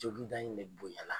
Joginda in de bonyala.